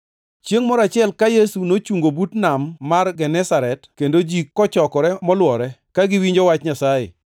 Chiengʼ moro achiel, ka Yesu nochungo but nam mar Genesaret, kendo ji kochokore molwore ka giwinjo wach Nyasaye.